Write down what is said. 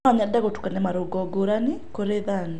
No nyende gũtukania marũngo ngũrani kũrĩ thani.